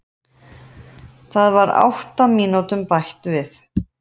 Það var átta mínútum bætt við